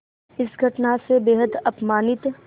इस घटना से बेहद अपमानित